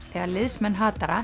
þegar liðsmenn